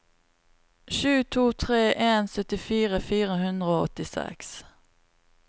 sju to tre en syttifire fire hundre og åttiseks